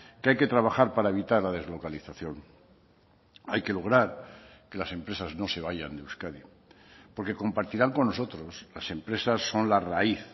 que hay que trabajar para evitar la deslocalización hay que lograr que las empresas no se vayan de euskadi porque compartirán con nosotros las empresas son la raíz